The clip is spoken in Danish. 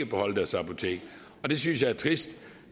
beholde deres apotek det synes jeg er trist